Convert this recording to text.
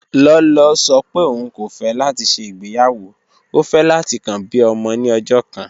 Lọlọ sọ̀ pé ọún kò fẹ̀ láti ṣẹ́ igbeyawo, ó fẹ̀ láti kàn bí ọmọ ni ọ̀jọ̀ kan